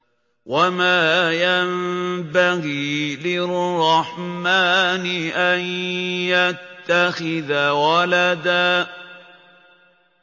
وَمَا يَنبَغِي لِلرَّحْمَٰنِ أَن يَتَّخِذَ وَلَدًا